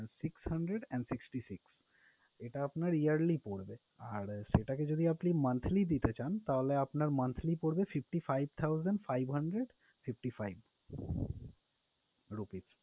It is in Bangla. six hundred and sixty six এটা আপনার yearly পড়বে, আর সেটাকে যদি আপনি monthly দিতে চান, তাহলে আপনার monthly পরবে fifty five thousand five hundred fifty five rupees